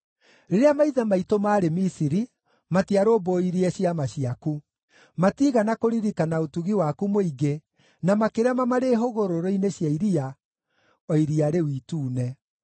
Rĩrĩa maithe maitũ maarĩ Misiri, matiarũmbũirie ciama ciaku; matiigana kũririkana ũtugi waku mũingĩ, na makĩrema marĩ hũgũrũrũ-inĩ cia iria, o Iria rĩu Itune.